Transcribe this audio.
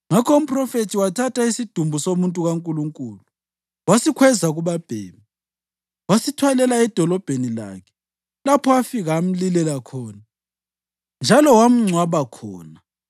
Ngakho umphrofethi wathatha isidumbu somuntu kaNkulunkulu, wasikhweza kubabhemi, wasithwalela edolobheni lakhe lapho afika amlilela khona njalo wamngcwaba khona.